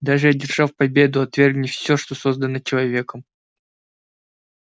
даже одержав победу отвергните всё что создано человеком